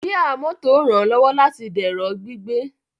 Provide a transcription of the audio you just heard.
Jíà mọ́tò ranlọwọ láti dẹrọ gbígbé